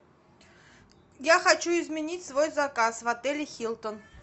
я хочу изменить свой заказ в отеле хилтон